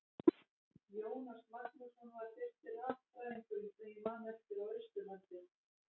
Jónas Magnússon var fyrsti raffræðingurinn sem ég man eftir á Austurlandi.